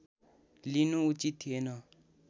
लिनु उचित थिएन